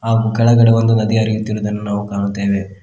ಆ ಕೆಳಗಡೆ ಒಂದು ನದಿ ಹರಿಯುತ್ತಿರುವುದನ್ನು ನಾವು ಕಾಣುತ್ತೇವೆ.